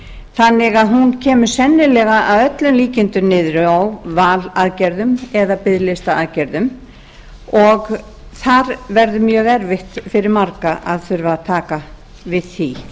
þannig að hún kemur sennilega að öllum líkindum niður á valaðgerðum eða biðlistaaðgerðum og það verður mjög erfitt fyrir marga að þurfa að taka við því